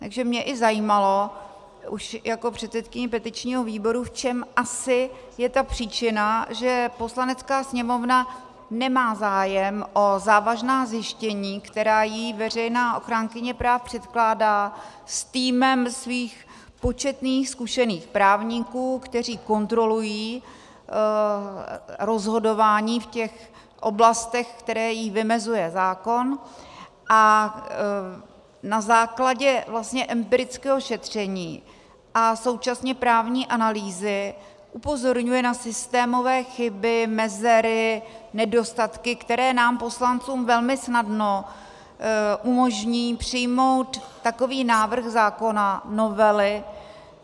Takže mě i zajímalo už jako předsedkyni petičního výboru, v čem asi je ta příčina, že Poslanecká sněmovna nemá zájem o závažná zjištění, která jí veřejná ochránkyně práv předkládá s týmem svých početných zkušených právníků, kteří kontrolují rozhodování v těch oblastech, které jí vymezuje zákon, a na základě vlastně empirického šetření a současně právní analýzy upozorňuje na systémové chyby, mezery, nedostatky, které nám poslancům velmi snadno umožní přijmout takový návrh zákona, novely.